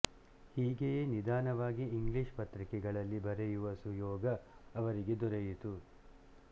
ಹೀಗೆಯೇ ನಿಧಾನವಾಗಿ ಇಂಗ್ಲೀಷ್ ಪತ್ರಿಕೆಗಳಲ್ಲಿ ಬರೆಯುವ ಸುಯೋಗ ಅವರಿಗೆ ದೊರೆಯಿತು